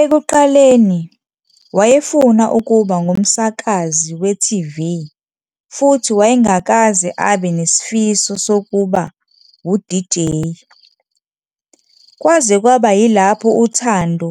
Ekuqaleni, wayefuna ukuba ngumsakazi we-TV futhi wayengakaze abe nesifiso sokuba wu-DJ, kwaze kwaba yilapho uthando